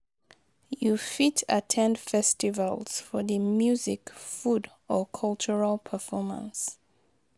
You fit at ten d festivals for di music, food or cultural performance.